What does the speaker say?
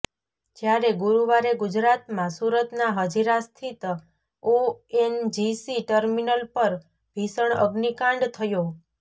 જ્યારે ગુરુવારે ગુજરાતમાં સુરતના હજીરા સ્થિત ઓએનજીસી ટર્મિનલ પર ભીષણ અગ્નિકાંડ થયો